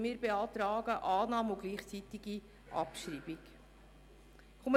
Er beantragt deshalb Annahme und gleichzeitige Abschreibung.